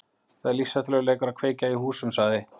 Það er lífshættulegur leikur að kveikja í húsum- sagði